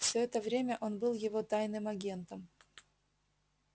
всё это время он был его тайным агентом